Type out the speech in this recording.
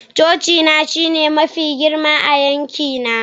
cocina shine mafi girma a yankina